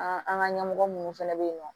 An an ka ɲɛmɔgɔ minnu fana bɛ yen nɔ